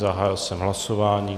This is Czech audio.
Zahájil jsem hlasování.